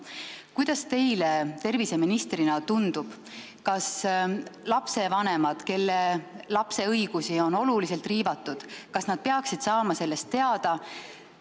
Kuidas teile terviseministrina tundub, kas lastevanemad, kelle lapse õigusi on oluliselt riivatud, peaksid saama sellest teada?